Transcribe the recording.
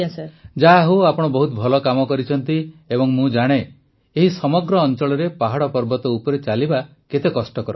ପ୍ରଧାନମନ୍ତ୍ରୀ ଯାହାହେଉ ଆପଣ ବହୁତ ଭଲ କାମ କରିଛନ୍ତି ଏବଂ ମୁଁ ଜାଣେ ଏହି ସମଗ୍ର ଅଂଚଳରେ ପାହାଡ଼ ପର୍ବତ ଉପରେ ଚାଲିବା କେତେ କଷ୍ଟକର